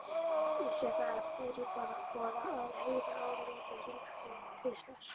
Vissi það fyrirboða, að heyra áramót hringd inn tvisvar.